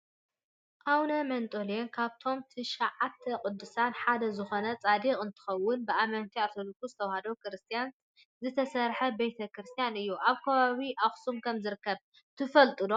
ኣውነ መንጠሌን ካብቶም ትሻዓተ ቅዱሳን ሓደ ዝኮኑ ፃዲቅ እንትኮኑ ብኣመንቲ ኦርቶዶክስ ተዋህዶ ክርስትያን ዝተሰረሓ ቤተ- ክርስትያን እዩ። ኣብ ከባቢ ኣክሱም ከም ዝርከብ ትፈልጡ ዶ ?